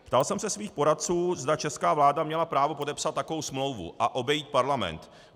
Ptal jsem se svých poradců, zda česká vláda měla právo podepsat takovou smlouvu a obejít Parlament.